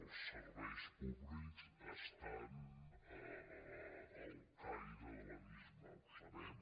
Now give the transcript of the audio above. els serveis públics estan al caire de l’abisme ho sabem